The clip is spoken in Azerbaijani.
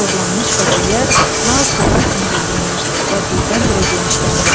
Torlanmış bəbəklər lal sular kimi durğunlaşdı və birdən-birə genişləndi.